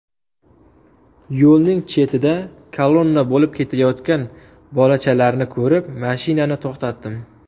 Yo‘lning chetida kolonna bo‘lib ketayotgan bolachalarni ko‘rib, mashinani to‘xtatdim.